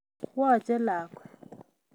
Woche lakwet